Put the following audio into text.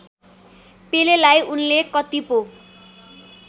पेलेलाई उनले कति पो